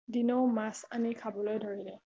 দিনেও মাছ আনি খাবলৈ ধৰিলে